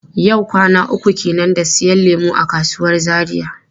Yau kwana uku kenan da siyan lemu a kasuwar Zaria.